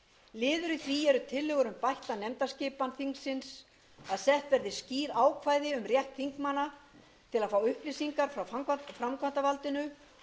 í því eru tillögur um bætta nefndaskipan þingsins að sett verði skýr ákvæði rétt þingmanna til að fá upplýsingar frá framkvæmdarvaldinu